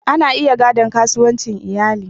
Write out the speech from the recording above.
Ana iya gadon kasuwancin iyali.